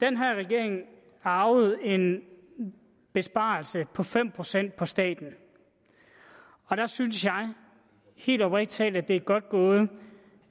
den her regering arvede en besparelse på fem procent på staten og der synes jeg helt oprigtig talt at det er godt gået